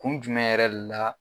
Kun jumɛn yɛrɛ de la